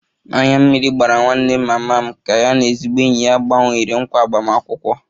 Anya mmiri gbara nwanne mama m ka ya na ezigbo enyi ya gbanwere nkwa agbamakwụkwọ